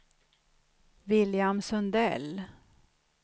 William Sundell